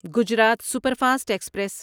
Gujarat superfast express